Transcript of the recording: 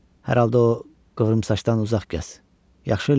Hər halda o qıvrımsaçdan uzaq gəz, yaxşı Lenni?